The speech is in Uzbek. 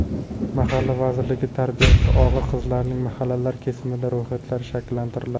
Mahalla vazirligi: Tarbiyasi og‘ir qizlarning mahallalar kesimida ro‘yxatlari shakllantiriladi.